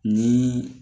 Ni